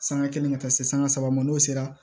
Sanga kelen ka taa se sanga saba ma n'o sera